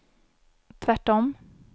tvärtom